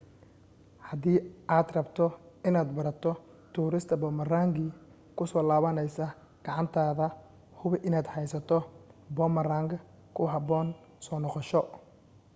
hadii aad rabto inaad barato tuurista boomarangi ku soo laabanaysa gacantaada hubi inaad haysato boomarang ku habboon soo noqosho